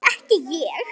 Og ekki ég!